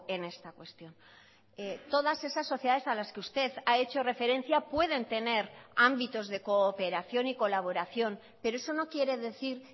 en esta cuestión todas esas sociedades a las que usted ha hecho referencia pueden tener ámbitos de cooperación y colaboración pero eso no quiere decir